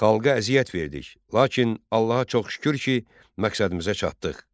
Xalqa əziyyət verdik, lakin Allaha çox şükür ki, məqsədimizə çatdıq.